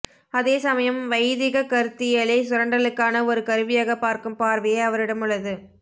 அதேசமயம் வைதிகக் கருத்தியலை சுரண்டலுக்கான ஒரு கருவியாகப் பார்க்கும் பார்வையே அவரிடமுள்ளது